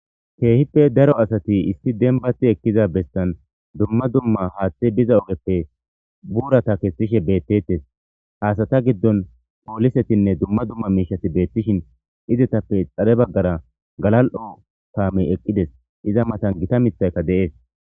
Keehippe daro asati isti denbati ekkiza bestan dumma dumma haaththe biza ogeppe buurata kestishe beettettes haasata giddon poolisetinne dumma dumma miishati beettishin izetappe xare baggara galal'o taamey eqqides iza matan gita mithayka deees.